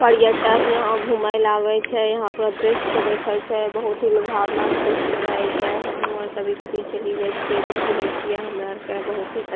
पर्यटक यहाँ घूमेल आवे छै यहाँ पूरा दृश्य देखै छै बहुत ही लुभावना दृश्य रहे छै हामु अर कभी-कभी चली जाए छिये देखी ले छिए हमारा अर के बहुत ही अ --